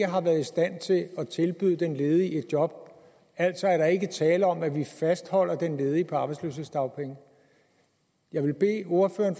har været i stand til at tilbyde den ledige et job altså er der ikke tale om at vi fastholder den ledige på arbejdsløshedsdagpenge jeg vil bede ordføreren